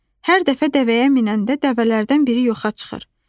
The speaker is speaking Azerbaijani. Hər dəfə dəvəyə minəndə dəvələrdən biri yoxa çıxır.